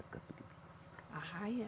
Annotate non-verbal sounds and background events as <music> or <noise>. <unintelligible> Arraia?